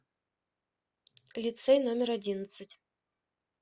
лицей номер одиннадцать